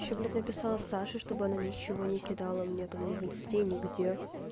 ещё блать написала саше чтобы она ничего не кидала мне там не в инсте нигде